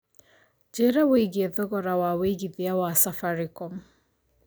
njĩra wĩigie thogora wa wĩigĩthĩa wa safaricom